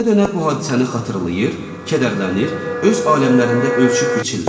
Dönə-dönə bu hadisəni xatırlayır, kədərlənir, öz aləmlərində ölçüb biçirlər.